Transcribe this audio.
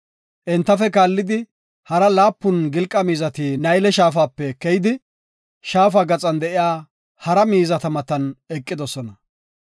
Entafe kaallidi, hara laapun gilqa miizati Nayle Shaafape keyidi, shaafa gaxan de7iya hara miizata matan eqidosona.